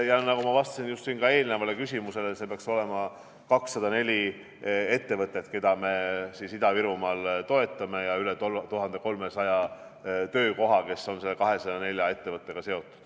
Ja nagu ma vastasin siin ka eelnevale küsimusele, peaks olema 204 ettevõtet, keda me siis Ida-Virumaal toetame, ja üle 1300 töökoha, kes on selle 204 ettevõttega seotud.